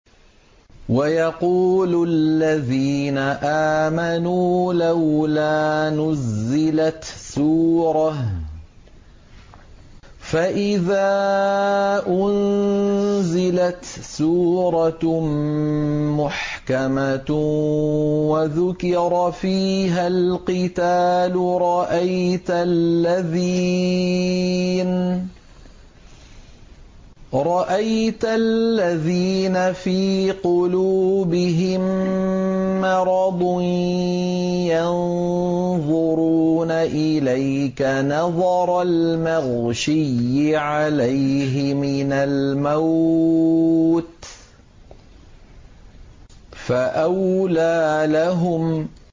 وَيَقُولُ الَّذِينَ آمَنُوا لَوْلَا نُزِّلَتْ سُورَةٌ ۖ فَإِذَا أُنزِلَتْ سُورَةٌ مُّحْكَمَةٌ وَذُكِرَ فِيهَا الْقِتَالُ ۙ رَأَيْتَ الَّذِينَ فِي قُلُوبِهِم مَّرَضٌ يَنظُرُونَ إِلَيْكَ نَظَرَ الْمَغْشِيِّ عَلَيْهِ مِنَ الْمَوْتِ ۖ فَأَوْلَىٰ لَهُمْ